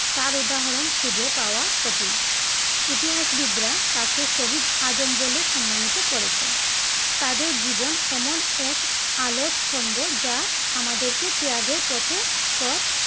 তার উদাহরন খুঁজে পাওয়া কঠিন ইতিহাসবিদরা তাকে শহীদ আজম বলে সম্মানিত করেছেন। তাদের জীবন এমন এক আলোর স্তম্ভ যা আমাদেরকে ত্যাগের পথে পথ